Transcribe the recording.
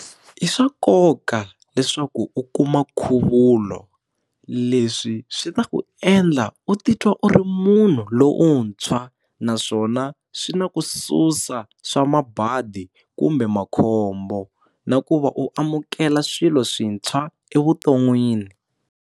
I swa nkoka leswaku u kuma nkhuvulo leswi swi ta ku endla u titwa u ri munhu lomuntshwa naswona swi na ku susa swa mabadi kumbe makhombo na ku va u amukela swilo swintshwa evuton'wini.